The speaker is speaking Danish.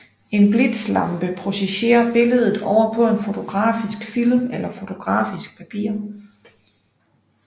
En blitzlampe projicerer billedet over på på en fotografisk film eller fotografisk papir